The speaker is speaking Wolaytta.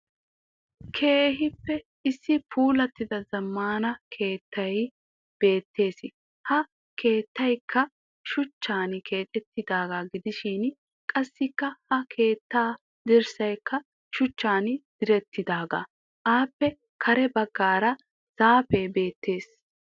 Issi puulattida zammaana keettay beettes. Ha keettayikka shuchchan keexettidaaga gidishin qassikka ha keetta dirssayikka shuchchan direttidaagaa. Aappe kare baggaara zaafee beettes.